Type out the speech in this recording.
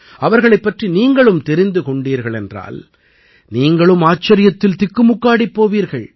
அவர்களைப் பற்றி நீங்களும் தெரிந்து கொண்டீர்களானால் நீங்களும் ஆச்சரியத்தில் திக்குமுக்காடிப் போவீர்கள்